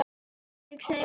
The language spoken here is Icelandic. Ég segi bara svona.